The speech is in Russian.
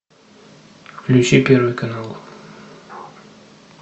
включи первый канал